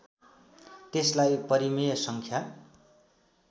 त्यसलाई परिमेय सङ्ख्या